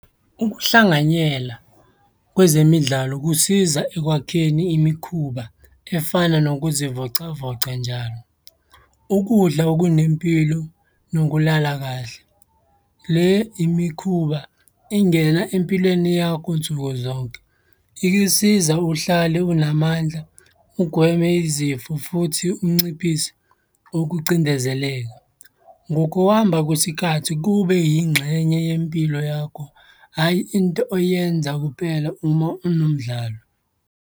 Ukuhlanganyela kwezemidlalo kusiza ekwakheni imikhuba efana nokuzivocavoca njalo, ukudla okunempilo, nokulala kahle. Le imikhuba ingena empilweni yakho nsuku zonke. Ikisiza uhlale unamandla, ugweme izifo futhi unciphise ukucindezeleka. Ngokuhamba kwesikhathi kube yingxenye yempilo yakho, hhayi into oyenza kupela uma unomdlalo.